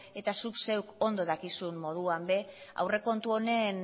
eta zuk zeuk ondo dakizun moduan ere aurrekontu honen